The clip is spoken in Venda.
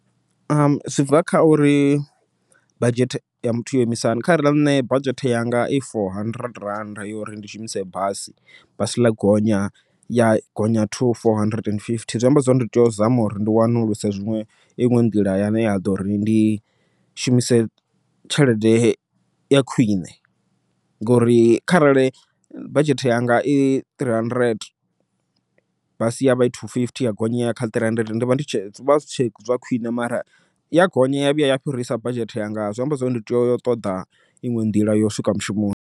Zwi bva kha uri badzhete ya muthu yo imisa hani, kharali nṋe badzhete yanga i four hundred rand yo uri ndi shumise basi, basi ḽa gonya ya gonya to four hundred and fifty zwi amba zwori ndi tea u zama uri ndi wanuluse zwiṅwe iṅwe nḓila yane ya ḓo ri ndi shumise tshelede ya khwiṋe. Ngori kharali badzhete yanga i three hundred basi ya vha i two fifty ya gonya yaya kha three hundred ndi vha ndi zwi vha zwi tshe zwa khwiṋe, mara ya gonya ya vhuya ya fhirisa badzhete yanga zwi amba zwori ndi tea u ṱoḓa iṅwe nḓila ya u swika mushumoni.